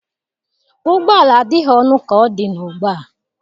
Ụgbọ ala adịghị ọnụ ka ọ dị ugbu a.